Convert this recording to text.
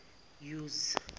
use